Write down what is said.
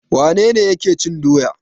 Wane ne yake cin doya?